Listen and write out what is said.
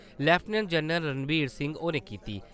Lieutenant general Ranvir Singh होरें कीती।